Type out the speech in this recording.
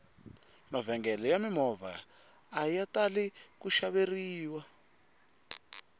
mavhengele ya mimovha aya tali ku xaveriwa